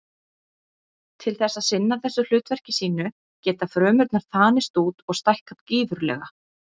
Til þess að sinna þessu hlutverki sínu geta frumurnar þanist út og stækkað gífurlega.